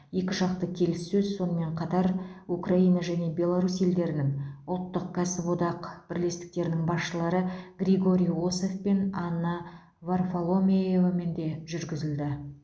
екіжақты келіссөз сонымен қатар украина және беларусь елдерінің ұлттық кәсіподақ бірлестіктерінің басшылары григорий осов пен анна варфоломеевамен де жүргізілді